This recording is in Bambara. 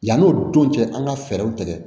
Yan'o don cɛ an ka fɛɛrɛw tigɛ